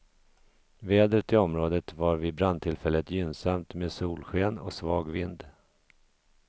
Vädret i området var vid brandtillfället gynnsamt med solsken och svag vind.